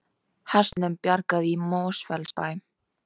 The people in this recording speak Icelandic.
Hestunum bjargað í Mosfellsbæ